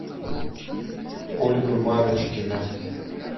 ольга марочкина